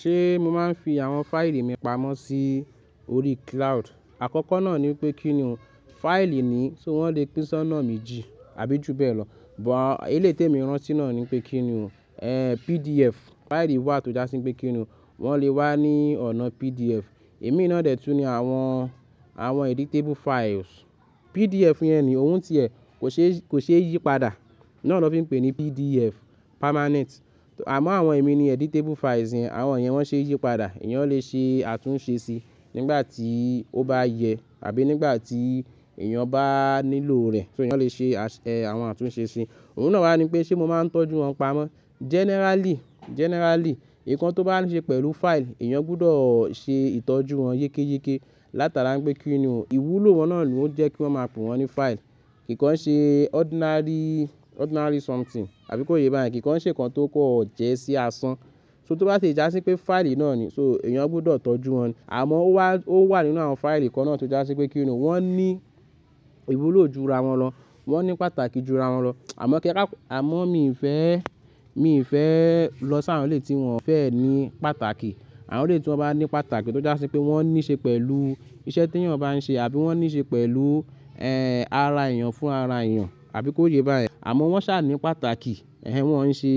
Ṣé mo máa ń fi àwọn fáìlì mi pamọ́ sí orí cloud? Àkọ́kọ́ náà ni pé, kí n ni o, fáìlì ni, so wọ́n lè pínṣán náà méjì àbí ju bẹ́ẹ̀ lọ. Eleyi te mi rán ti náà ni pé kí ni o, PDF. Fáìlì wà tó dásí pé kí ni o, wọ́n lè wá ní ọ̀nà PDF. Èmi náà dè tu ni àwọn editable files. PDF yẹn ni ohun ti ẹ̀ kò ṣe yípadà. Náà ló fi ń pe ní PDF, permanent. Àma, àwọn èmi ni editable files, àwọn yẹn wọ́n ṣe yípadà. Ìyẹn lè ṣe àtúnṣe sí, nígbà tí ó bá yẹ àbí nígbà tí èèyàn bá nílò rẹ̀. So ìyẹn ó lè ṣe àwọn àtúnṣe sí. Ohun náà wá ní pé ṣé mo máa ń tọ́jú wọn pamọ́? Generally, nǹkan tó bá ní ṣe pẹ̀lú file, èèyàn gbọdọ̀ ṣe ìtọ́jú wọn yékéyéké. Látara pé kí ni o, ìwúlò wọn náà ló ń jẹ́ kí wọ́n máa pè wọ́n ní file. Kìkan ṣe ordinary something, àbí kó yé báyẹn. Kìkan ṣe nǹkan tó kọ̀ jẹ́ sí asán. So tó bá ti jásí pé fáìlì náà ni, so èèyàn gbọdọ̀ tọ́jú wọn. Àmọ́, ó wà nínú àwọn fáìlì kan náà tó jásí pé kíni o, wọ́n ní ìwúlò ju ra wọn lọ. Wọn ní pàtàkì ju ra wọn lọ. Àmọ́ mi ì fẹ́ lọ sí àwọn eléyi tí wọ́n fẹ́ ní pàtàkì. Àwọn léyi tí wọ́n bá ní pàtàkì, tó jásí pé wọ́n ní ṣe pẹ̀lú iṣẹ́ te èèyàn bá ń ṣe àbí wọ́n ní ṣe pẹ̀lú, ara èèyàn fún ara èèyàn, àbí kó yé báyẹn. Àmọ́ wọ́n ṣà ní pàtàkì, wọ́n ń ṣe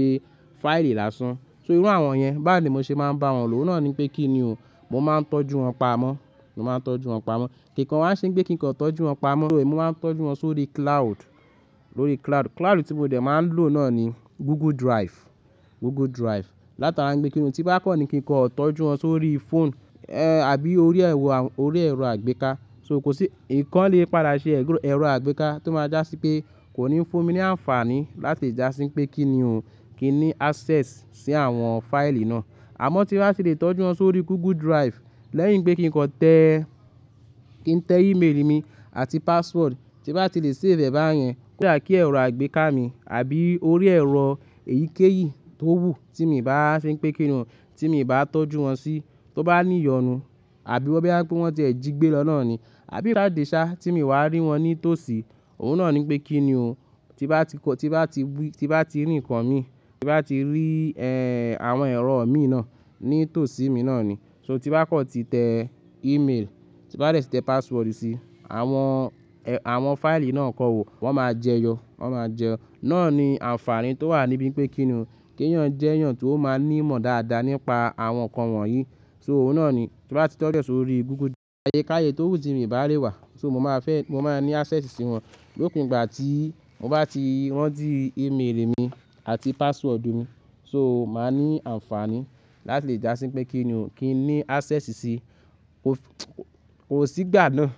fáìlì lásán. So irú àwọn yẹn, bá wo ńi mo ṣe máa ń bá wọn lò, o náà ni pé kí ni o, mo máa ń tọ́jú wọn pamọ́. Mo máa ń tọ́jú wọn pamọ́. Kìkan wá ń ṣe pé kí nǹkan tọ́jú wọn pamọ́? So mo máa ń tọ́jú wọn sórí cloud. Lórí cloud. Cloud tí mo dẹ̀ máa ń lò náà ni Google Drive. Google Drive. Látara pé kí ni o, tí bá kọ́ ni kí nǹkan tọ́jú wọn sórí phone, àbí orí ẹ̀rọ àgbéká. So kòsí, nǹkan lè padà ṣe ẹ̀rọ àgbéká tó máa jásí pé, kò ní fún mi ní àǹfààní láti jásí pé kí ni o, kí n ní access sí àwọn fáìlì náà. Àmọ́ tí bá ti lè tọ́jú wọn sórí Google Drive, lẹ́yìn pé kí nǹkan tẹ email mi àti password, tí bá ti lè save bẹ̀yẹn, kíà kí ẹ̀rọ àgbéká mi àbí orí ẹ̀rọ èyíkéyìí tó wù tí mi ò bá fi ń pé kí ni o, tí mi ò bá tọ́jú wọn sí, tó bá ní ìyọnu àbí bó wọ́n ti jẹ́ gbé lọ náà ni, àbí rá de sá, tí mi wá rí wọn ní tòsí, òhun náà ni pé kí ni o, tí bá ti rí nǹkan mi, tí bá ti rí àwọn ẹ̀rọ mi náà, ní tòsí mi náà ni. So, tí bá kọ́ ti tẹ email, tí bá ti tẹ password sí, àwọn fáìlì náà kan máa jẹyọ. Wọ́n máa jẹyọ. Náà ni àǹfààní tó wà níbí pé kí ni o, kí èèyàn jẹ́ èèyàn tó máa ní ìmọ̀ dáadáa nípa àwọn nǹkan wọ̀nyí. So òun náà ni, tí bá ti tọ́jú ẹ sórí Google Drive, ayékaye tó wù tí mi bá le wà. Mo máa ní access sí wọn lópin ìgbà tí mo bá ti ran ti email mi àti password mi. So màá ní àǹfààní, láti jásí pé kí ni o, kí n ní access sí, kò sí ìgbà náà.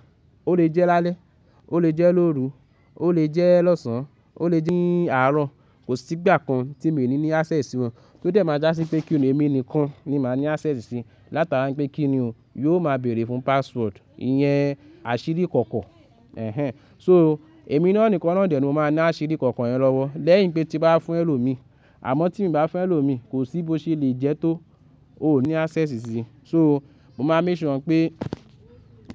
Ó lè jẹ́ lálẹ́, ó lè jẹ́ lóru, ó lè jẹ́ lọ́sàn, ó lè jẹ́ ní àárọ̀. Kò sí ìgbà kan tí mi ò ní access sí wọn. Tó dẹ̀ máa jásí pé kí ni o, èmi nìkan ni màá ní access sí. Látara pé kí ni o, yóò máa bèrè fún password. Ìyẹn àṣírí kọ̀kọ̀ so èmi náà nìkan náà dè ló máa ní àṣírí kọ̀kọ̀ yẹn lọ́wọ́. Lẹ́yìn pé tí bá fún ẹlòmíì. Àmọ́ tí mo bá fẹ́ ẹlòmíì, kò sí bó ṣe lè jẹ́ tó, ó ní access sí. So mo máa ń measure pé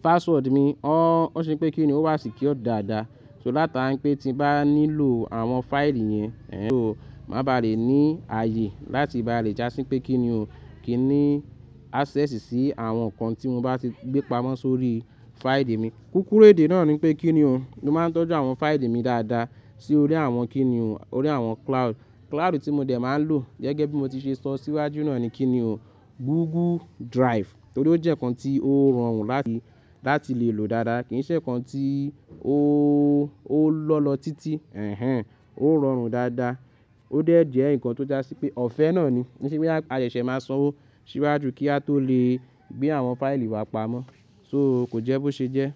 password mi, o ṣe pé kí ni o, wá sì kí ó dáadáa. So látara pé tí bá nílò àwọn fáìlì yẹn, so mà bá li ní ààyè láti bá le jásí pé kí ni o, kí n ní access sí àwọn nǹkan tí mo bá ti gbé pamọ́ sórí fáìlì mi. Kúrú èdè náà ni pé kí ni o, mo máa ń tọ́jú àwọn fáìlì mi dáadáa sí orí àwọn kí ni o, orí àwọn cloud. Cloud tí mo dẹ̀ máa ń lò gẹ́gẹ́ bí mo ti ṣe sọ síwájú náà ni kí ni o, Google Drive. Nítorí ó jẹ́ nǹkan tí ó rọrùn láti lè lò dáadáa. Kì í ṣe nǹkan tí ó lọ́lọ títí. Ehnhn. Ó rọrùn dáadáa. Ó dẹ̀ jẹ́ nǹkan tó jásí pé ọ̀fẹ́ náà ni. Ki se pé bóyá a ṣẹ̀ṣẹ̀ máa sọ̀wọ́ síwájú, kí a tó lè gbé àwọn fáìlì wa pamọ́. So kò jẹ́ bó ṣe jẹ́.